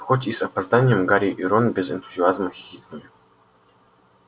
хоть и с опозданием гарри и рон без энтузиазма хихикнули